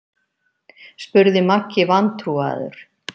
spurði Maggi vantrúaður.